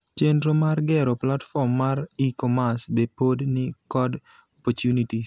Chendro mar gero platform mar e-commerce be pod ni kod opportunities.